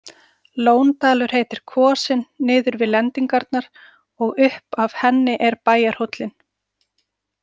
Lóndalur heitir kvosin niður við lendingarnar og upp af henni er bæjarhóllinn.